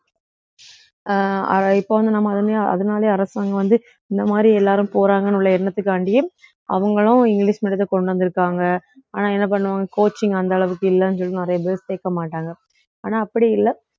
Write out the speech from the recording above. அஹ் அஹ் இப்ப வந்து நம்ம அதனாலேயே அரசாங்கம் வந்து இந்த மாதிரி எல்லாரும் போறாங்கன்னு உள்ள எண்ணத்துக்காண்டியே அவங்களும் இங்கிலிஷ் medium த்தை கொண்டு வந்திருக்காங்க ஆனா என்ன பண்ணுவோம் coaching அந்த அளவுக்கு இல்லைன்னு சொல்லிட்டு நிறைய பேர் சேர்க்க மாட்டாங்க ஆனா அப்படி இல்லை